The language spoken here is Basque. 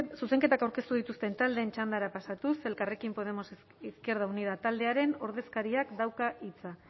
zuzenketak aurkeztu dituzten taldeen txandara pasatuz elkarrekin podemos izquierda unida taldearen ordezkariak dauka hitza